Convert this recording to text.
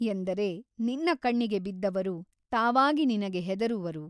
ಎಂದರೆ ನಿನ್ನ ಕಣ್ಣಿಗೆ ಬಿದ್ದವರು ತಾವಾಗಿ ನಿನಗೆ ಹೆದರುವರು.